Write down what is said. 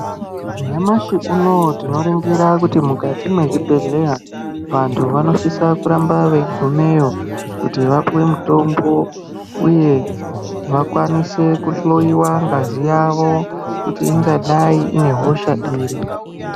Nyamashi unouyu tinorongira kuti mukati mwezvibhehlera vanhu vanosisa kurambe veigumeyo kuti vapiwe mitombo uye vakwanise kuhloiwa ngazi yavo kuti ingadai ine hosha iri.